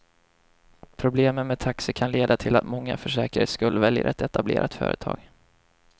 Problemen med taxi kan leda till att många för säkerhets skull väljer ett etablerat företag.